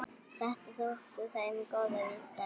Þetta þótti þeim góð vísa.